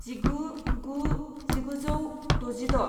जिगु गु जिगुजौ द'जिद'